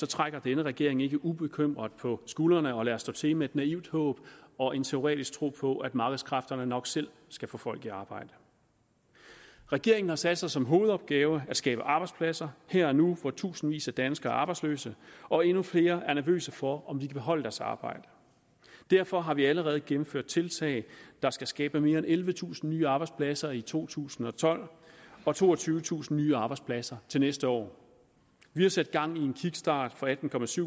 trækker denne regering ikke ubekymret på skuldrene og lader stå til med et naivt håb og en teoretisk tro på at markedskræfterne nok selv skal få folk i arbejde regeringen har sat sig som hovedopgave at skabe arbejdspladser her og nu hvor tusindvis af danskere er arbejdsløse og endnu flere er nervøse for om de kan beholde deres arbejde derfor har vi allerede gennemført tiltag der skal skabe mere end ellevetusind nye arbejdspladser i to tusind og tolv og toogtyvetusind nye arbejdspladser til næste år vi har sat gang i en kickstart for atten